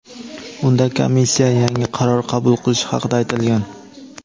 Unda komissiya yangi qaror qabul qilishi haqida aytilgan.